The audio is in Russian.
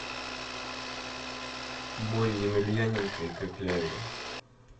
бой емельяненко и кокляева